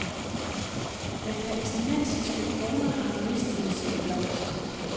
Den palæstinensiske krone har mistet sin blomst.